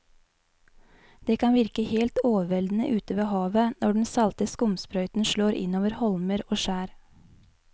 Det kan virke helt overveldende ute ved havet når den salte skumsprøyten slår innover holmer og skjær.